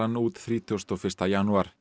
út þrítugasta og fyrsta janúar